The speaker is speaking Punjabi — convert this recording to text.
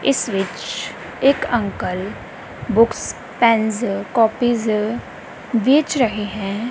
ਇਸ ਵਿੱਚ ਇੱਕ ਅੰਕਲ ਬੁਕਸ ਪੈਨਜ਼ ਕੋਪੀਜ਼ ਵੇਚ ਰਹੇ ਹੈਂ।